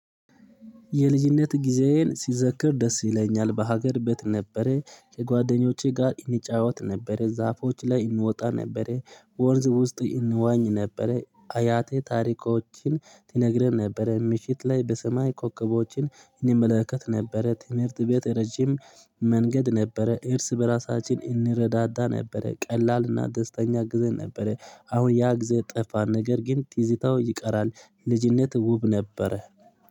የልጅነት ጊዜዬን ሲዘክር ደስ ይለኛል በሀገር ቤት ነበረ ከጓደኞቼ ጋር እንጫወት ነበረ ዛፎች ላይ እንወጣ ነበረ ወንዝ ውስጥ እንዋኝ ነበረ። አያቴ ታሪኮችን ትነግረን ነበረ ምሽት ላይ በሰማይ ኮከቦችን እንመለከት ነበረ። ትምህርት ቤት ረጅም መንገድ ነበረ እርስ በራሳችን እንረዳዳ ነበረ ቀላልና ደስተኛ ጊዜ ነበረ። አሁን ያ ግዝ ጠፋ ነገር ግን ትዝታው ይቀራል። ልጅነት ውብ ነበረ